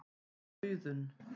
Auðunn